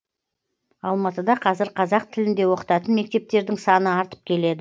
алматыда қазір қазақ тілінде оқытатын мектептердің саны артып келеді